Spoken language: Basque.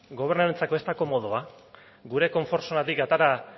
gobernuarentzako ez da komodoa gure konfort zonatik atera